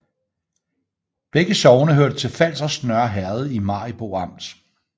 Begge sogne hørte til Falsters Nørre Herred i Maribo Amt